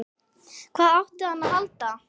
Hvað átti hann að halda?